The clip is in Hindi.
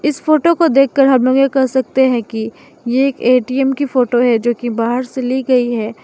इस फोटो को देख कर हम लोग ये कह सकते हैं कि ये एक ए_टी_एम की फोटो है जो कि बाहर से ली गई है।